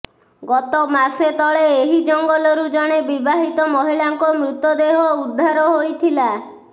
ଗତ ମାସେ ତଳେ ଏହି ଜଙ୍ଗଲରୁ ଜଣେ ବିବାହିତ ମହିଳାଙ୍କ ମୃତଦେହ ଉଦ୍ଧାର ହୋଇଥିଲା